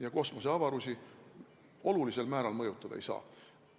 ja kosmoseavarusi olulisel määral mõjutada ei saa.